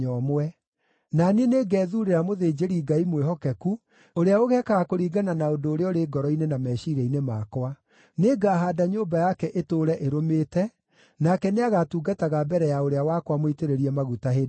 Na niĩ nĩngethuurĩra mũthĩnjĩri-Ngai mwĩhokeku, ũrĩa ũgeekaga kũringana na ũndũ ũrĩa ũrĩ ngoro-inĩ na meciiria-inĩ makwa. Nĩngahaanda nyũmba yake ĩtũũre ĩrũmĩte, nake nĩagatungataga mbere ya ũrĩa wakwa mũitĩrĩrie maguta hĩndĩ ciothe.